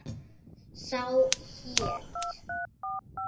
Sá hét